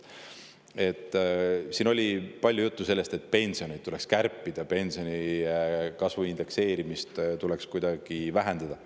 Siin oli palju juttu sellest, et pensione tuleks kärpida ja pensionide indekseerimist tuleks kuidagi vähendada.